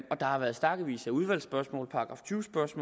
har været stakkevis af udvalgsspørgsmål